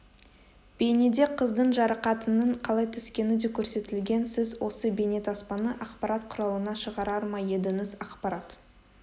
бейнеде қыздың жарақатының қалай түскені де көрсетілген сіз осы бейнетаспаны ақпарат құралына шығарар ма едіңіз ақпарат